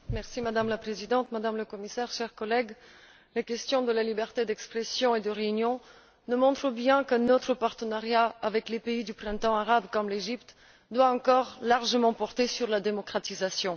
Madame la Présidente, Madame la Commissaire, chers collègues, les questions de la liberté d'expression et de réunion nous montrent bien que notre partenariat avec les pays du Printemps arabe comme l'Égypte doit encore largement porter sur la démocratisation.